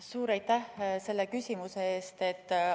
Suur aitäh selle küsimuse eest!